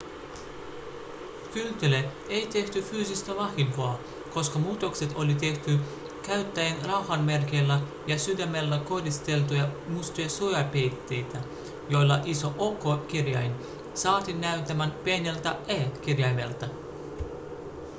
kyltille ei tehty fyysistä vahinkoa koska muutokset oli tehty käyttäen rauhanmerkeillä ja sydämellä koristeltuja mustia suojapeitteitä joilla iso o-kirjain saatiin näyttämään pieneltä e-kirjaimelta